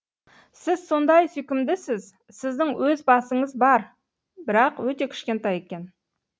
сіз сондай сүйкімдісіз сіздің өз басыңыз бар бірақ өте кішкентай екен